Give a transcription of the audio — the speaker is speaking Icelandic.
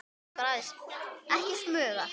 Ekki smuga!